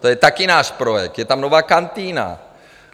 To je také náš projekt, je tam nová kantýna.